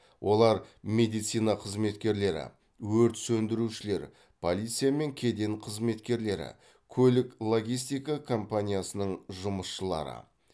олар медицина қызметкерлері өрт сөндірушілер полиция мен кеден қызметкерлері көлік логистика компаниясының жұмысшылары